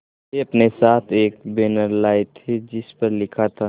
वे अपने साथ एक बैनर लाए थे जिस पर लिखा था